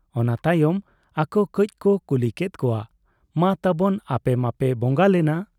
ᱚᱱᱟ ᱛᱟᱭᱚᱢ ᱟᱠᱚ ᱠᱟᱹᱡᱽ ᱠᱚ ᱠᱩᱞᱤ ᱠᱮᱫ ᱠᱚᱣᱟ 'ᱢᱟ ᱛᱟᱵᱚᱱ ᱟᱯᱮ ᱢᱟᱯᱮ ᱵᱚᱝᱝᱟ ᱞᱮᱱᱟ ᱾